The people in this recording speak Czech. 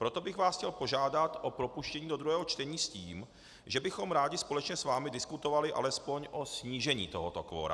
Proto bych vás chtěl požádat o propuštění do druhého čtení s tím, že bychom rádi společně s vámi diskutovali alespoň o snížení tohoto kvora.